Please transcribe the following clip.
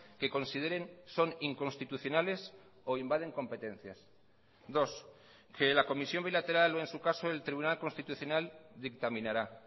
que consideren son inconstitucionales o invaden competencias dos que la comisión bilateral o en su caso el tribunal constitucional dictaminará